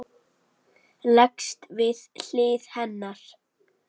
Leggst við hlið hennar.